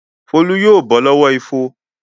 Folú yóò bọ́ lọ́wọ́ ifo.